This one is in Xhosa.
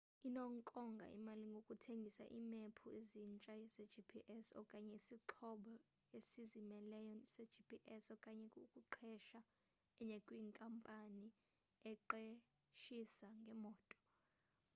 inokonga imali ngokuthenga iimephu ezintsha zegps okanye isixhobo esizimeleyo segps okanye ukuqesha enye kwinkampani eqeshisa ngemoto